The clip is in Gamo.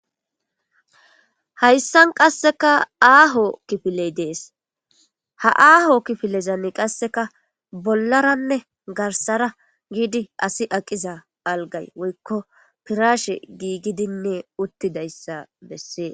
Hayssan qasseka aaho kifiley dees ha aaho kifilezani qasseka bollaranne garsara giidi asi aqiza algay woykko pirashe giigidinne uttidayssa bessees.